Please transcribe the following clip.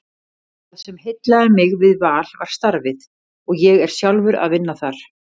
Það sem heillaði mig við Val var starfið og ég er sjálfur að vinna þar.